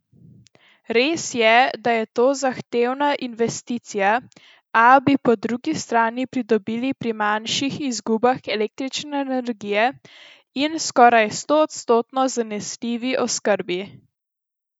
Res je, da je to zahtevna investicija, a bi po drugi strani pridobili pri manjših izgubah električne energije in skoraj stoodstotno zanesljivi oskrbi.